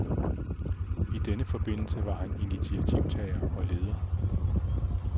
I denne forbindelse var han initiativtager og leder.